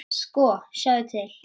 Sko, sjáðu til.